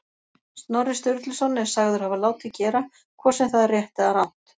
Snorri Sturluson er sagður hafa látið gera, hvort sem það er rétt eða rangt.